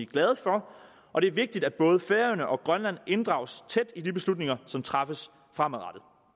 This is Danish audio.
glade for og det er vigtigt at både færøerne og grønland inddrages tæt i de beslutninger som træffes fremadrettet